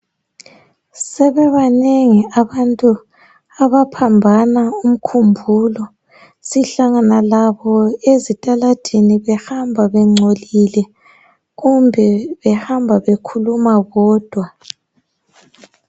Sebebanengi abantu abaphambana umkhumbulo sihlangana labo ezitaladini behamba bengcolile kumbe behamba bekhuluma bodwa.